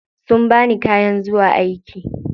Sun bani kayan zuwa aiki.